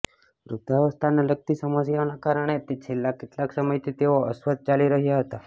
વૃદ્ધાવસ્થાને લગતી સમસ્યાઓના કારણે તે છેલ્લા કેટલાક સમયથી તેઓ અસ્વસ્થ ચાલી રહ્યા હતા